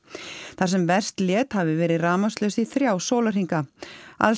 þar sem verst lét hafi verið rafmagnslaust í þrjá sólarhringa alls